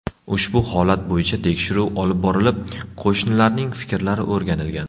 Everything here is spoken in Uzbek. Ushbu holat bo‘yicha tekshiruv olib borilib, qo‘shnilarning fikrlari o‘rganilgan.